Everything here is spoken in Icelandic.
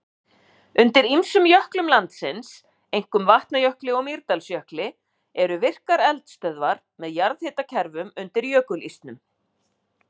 Undir ýmsum jöklum landsins, einkum Vatnajökli og Mýrdalsjökli, eru virkar eldstöðvar með jarðhitakerfum undir jökulísnum.